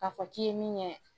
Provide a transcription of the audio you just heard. A fɔ k'i ye min ye